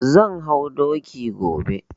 Zan hau doki gobe.